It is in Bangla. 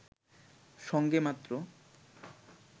সঙ্গে মাত্র